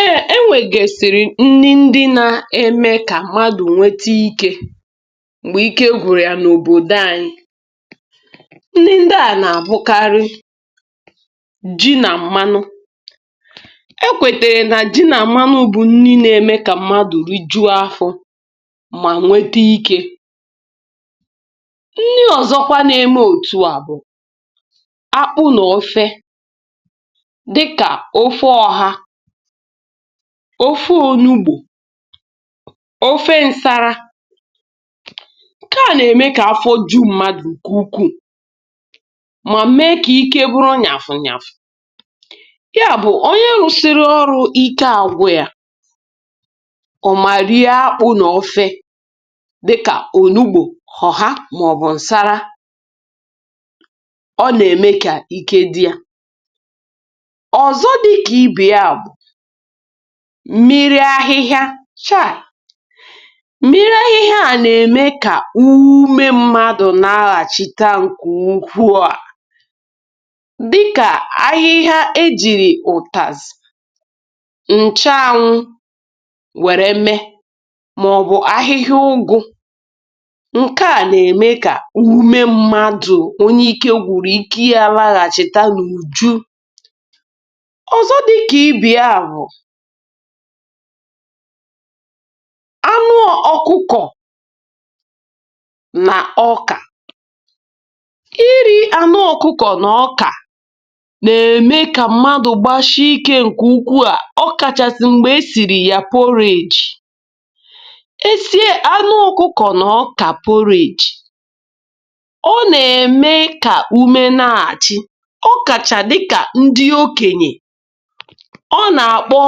E e nwegesìrì nni ndị n'eme ka mmadụ nwete ike m̀gbè ike gwụrụ ya n’obodo anyi̇. Nni ndi a na-abụkarị ji na mmanụ. E kwetere na ji na mmanụ bù nni n'eme ka mmadu rijuo afọ mà nwete ike. Nni ọzọkwa n’eme òtù a bụ akpụ na ofe dịka; ofe ọha, ofe onugbu, ofe nsara, nke a na-eme ka afọ ju mmadụ nke ukwu, ma mee ka ike bụrụ nyafu nyafu. Ya bụ onye rụsịrị ọrụ ike agwụ ya, ọ ma rie akpụ na ofe dịka; onugbu, ọha, maọbụ nsara, ọ na-eme ka ike di ya. Ọ zọ dịka ibe ya bụ mmiri ahịhịa, chai! mmiri ahịhịa a na-eme ka ume mmadụ naghachita nke ukwuu a, dịka; ahịhịa ejiri utazi, nchuanwụ were mee, maọbu ahịhịa ụgụ, nke a na-eme ka ume mmadụ, onye ike gwụrụ, ike ya laghachita n’ùju. Ọzọ dịka ibe ya bu; anụ ọkụkọ na ọka. Ị́rị́ anụ ọkụkọ na ọka na-eme ka mmadụ gbasie ike nke ukwu a, ọkachasị mgbe e sìrì ya purige. Esie anụ ọkụkọ na ọka purige ọ na-eme ka ume n'adi. Ọ kacha dika ndị okenye, ọ na-akpọ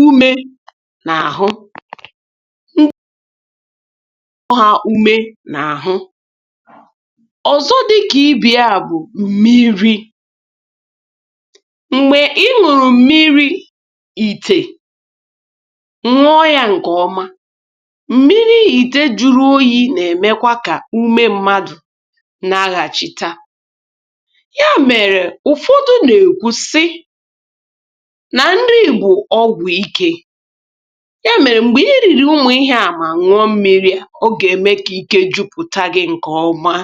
ume n’ahụ. ume n’àhụ. Ọzọ dị ka ibe ya bụ mmiri. Mgbe Ị́ ñụrụ mmiri ite, ñụọ ya nko ọma, m̀miri ìtè juru oyi̇ na-emekwa ka ume mmadụ naghachita. Ya mere ụfọdụ na-ekwu si: na nni bụ ọgwụ Ike. Ya mere mgbe Ị́ riri ụmụ ihe a, ma ñụọ mmịrị ọ ga-eme ka ike jụpụta gị̇ nke ọma.